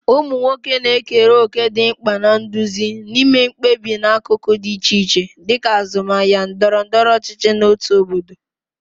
Ụmụ nwoke na-ekere òkè dị mkpa na nduzi na ime mkpebi n'akụkụ dị iche iche, dịka azụmahịa, ndọrọ ndọrọ ọchịchị, na òtù obodo.